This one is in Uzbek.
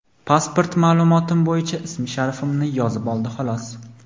pasport ma’lumotim bo‘yicha ism-sharifimni yozib oldi xolos.